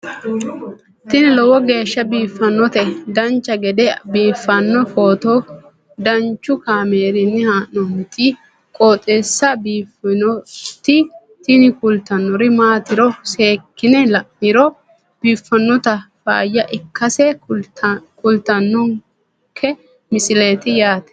tini lowo geeshsha biiffannoti dancha gede biiffanno footo danchu kaameerinni haa'noonniti qooxeessa biiffannoti tini kultannori maatiro seekkine la'niro biiffannota faayya ikkase kultannoke misileeti yaate